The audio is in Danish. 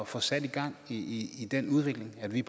få sat gang i i den udvikling at vi